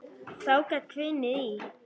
Þá gat hvinið í.